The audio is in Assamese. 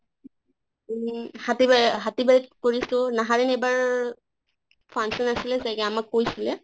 উম হাতীবা হাতী বাৰিত কৰিছো, নাহাৰণি এবাৰ function আছিলে চাগে আমাক কৈছিলে